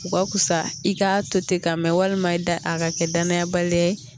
U ka wusa i k'a to ten ka mɛn walima i da a ka kɛ danaya baliya ye